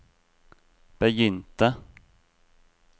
begynte